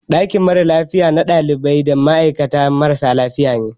Ɗakin mara lafiya na ɗalibai da ma'aikata marasa lafiya ne.